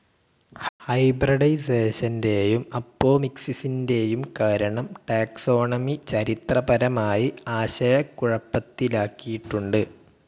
ഹൈബ്രഡൈസേഷന്റെയും അപ്പോമിക്സിസിന്റേയും കാരണം ടാക്സോണമി ചരിത്രപരമായി ആശയക്കുഴപ്പത്തിലാക്കിയിട്ടുണ്ട്.